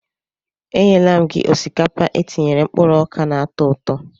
E nyela m gị osikapa etinyere mkpụrụ oka na-atọ ụtọ.